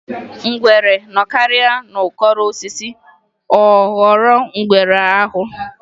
Ngwere nọkarịa n'ukoro osisi ọ ghọrọ ngwere aghụ.